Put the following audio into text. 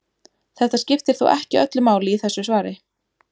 Þetta skiptir þó ekki öllu máli í þessu svari.